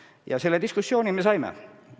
Ja selle diskussiooni me saime.